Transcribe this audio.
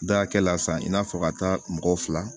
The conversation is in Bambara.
Da hakɛ la san i n'a fɔ ka taa mɔgɔ fila